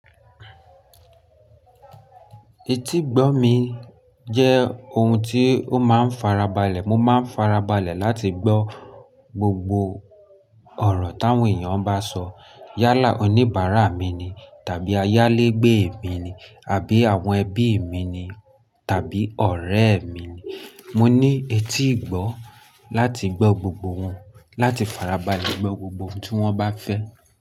Etí gbọ́ mi jẹ́ ohun tí ó máa ń farabalẹ̀. Mo máa ń farabalẹ̀ láti gbọ́ gbogbo ọ̀rọ̀ táwọn èèyàn bá sọ. Yálà oníbàárà mi ni tàbí ayálégbé mi ni àbí àwọn ẹbí mi ni tàbí ọ̀rẹ́ mi ni. Mo ní etí ìgbọ́ láti gbọ́ gbogbo wọn, láti farabalẹ̀ gbọ́ gbogbo ohun tí wọ́n bá fẹ́